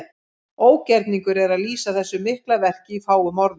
Ógerningur er að lýsa þessu mikla verki í fáum orðum.